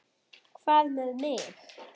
Hvað með mig?